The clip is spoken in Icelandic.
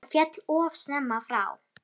Hann féll of snemma frá.